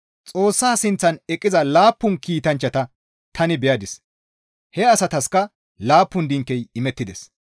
Xoossa sinththan eqqiza laappun kiitanchchata tani beyadis; he asataskka laappun dinkey imettides.